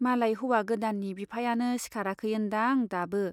मालाय हौवा गोदाननि बिफायानो सिखाराखै ओन्दां दाबो।